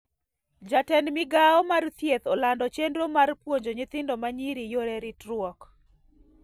Jatend migao mar thieth olando chendro mar puonjo nyithindo manyiri yore ritruok